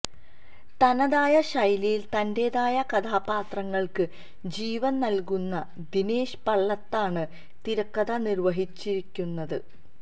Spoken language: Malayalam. തനതായ ശൈലിയിൽ തന്റേതായ കഥാപാത്രങ്ങൾക്ക് ജീവൻ നൽകുന്ന ദിനേശ് പള്ളത്താണ് തിരക്കഥ നിർവ്വഹിച്ചിരിക്കുന്നത്